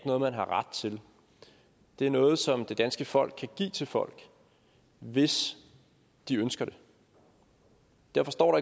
noget man har ret til det er noget som det danske folk kan give til folk hvis de ønsker det derfor står